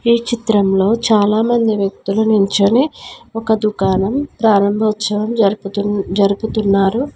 ఈ చిత్రంలో చాలా మంది వ్యక్తులు నిల్చొని ఒక దుకాణం ప్రారంభోత్సవం జరుపుతూ జరుపుతున్నారు.